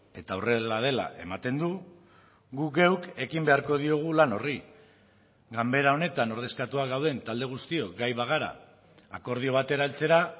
eta horrela dela ematen du gu geuk ekin beharko diogu lan horri ganbera honetan ordezkatuak gauden talde guztiok gai bagara akordio batera heltzera